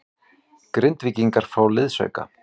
Grindvíkingar fá liðsauka